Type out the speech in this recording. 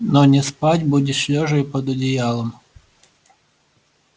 но не спать будешь лёжа и под одеялом